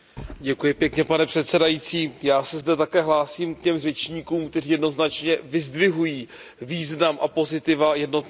Pane předsedající, já se zde také hlásím k těm řečníkům, kteří jednoznačně vyzdvihují význam a pozitiva jednotného trhu.